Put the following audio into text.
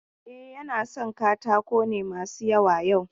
E, yana son katako ne masu yawa yau.